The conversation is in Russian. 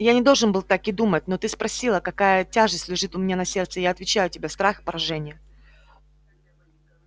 я не должен был так и думать но ты спросила какая тяжесть лежит у меня на сердце и я отвечаю тебе страх поражения